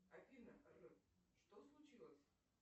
афина что случилось